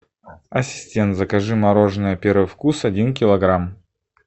ассистент закажи мороженое первый вкус один килограмм